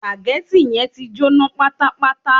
Sùpàgẹ́tì yẹn ti jóná pátápátá